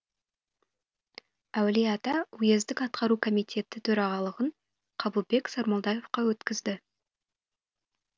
әулиеата уездік атқару комитеті төрағалығын қабылбек сармолдаевқа өткізді